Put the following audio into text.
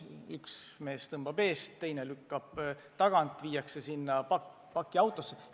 Üks mees tõmbab eest, teine lükkab tagant ja viiakse see kraam pakiautosse.